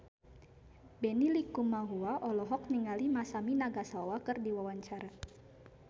Benny Likumahua olohok ningali Masami Nagasawa keur diwawancara